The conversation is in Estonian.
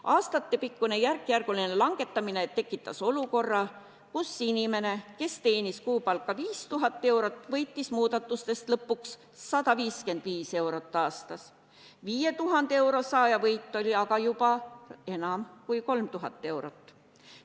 Aastatepikkune järkjärguline langetamine tekitas olukorra, kus inimene, kes teenis kuupalka 500 eurot, võitis muudatustest lõpuks 155 eurot aastas, 5000 euro saaja võit oli aga juba enam kui 3000 eurot.